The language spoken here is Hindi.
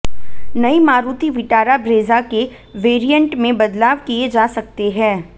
नई मारुति विटारा ब्रेजा के वैरिएंट में बदलाव किये जा सकते है